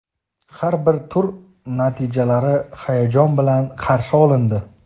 Har bir tur natijalari hayajon bilan qarshi olindi.